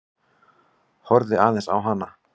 Horfði aðeins á hana.